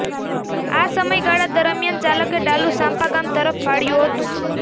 આ સમયગાળા દરમિયાન ચાલકે ડાલુ સાંપા ગામ તરફ વાળ્યુ હતું